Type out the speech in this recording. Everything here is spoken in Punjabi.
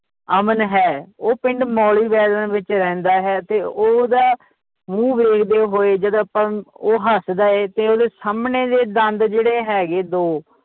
ਅਮਨ ਹੈ ਉਹ ਪਿੰਡ ਮੌਲੀ ਵਿਚ ਰਹਿੰਦਾ ਹੈ ਤੇ ਓਹਦਾ ਮੂੰਹ ਵੇਖਦੇ ਹੋਏ ਜਦ ਆਪਾਂ ਉਹ ਹੱਸਦਾ ਹੈ ਤੇ ਓਹਦੇ ਸਾਮਣੇ ਦੇ ਦੰਦ ਜਿਹੜੇ ਹੈਗੇ ਦੋ